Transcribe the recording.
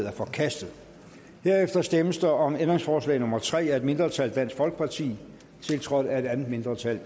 er forkastet herefter stemmes der om ændringsforslag nummer tre af et mindretal tiltrådt af et andet mindretal